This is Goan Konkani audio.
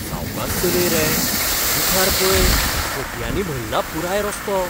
सावकास चलय रे. मुखार पळय हतयांनी भल्ला पुराय रस्तो.